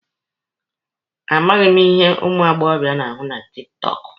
A maghị m ihe ụmụ agbọbịa na-ahụ na tiktọọkụ.